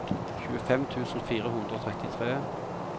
tjuefem tusen fire hundre og trettitre